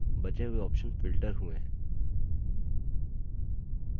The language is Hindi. बचे हुए options filtered हुए हैं